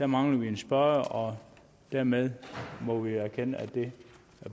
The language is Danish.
mangler vi en spørger og dermed må vi erkende at det